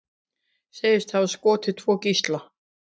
Segist hafa skotið tvo gísla